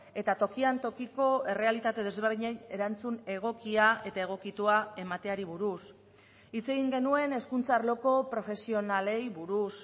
eta tokian tokiko errealitate desberdinei erantzun egokia eta egokitua emateari buruz hitz egin genuen hezkuntza arloko profesionalei buruz